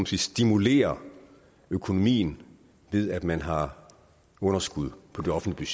sige stimulerer økonomien ved at man har underskud på de offentlige